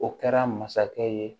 O kɛra masakɛ ye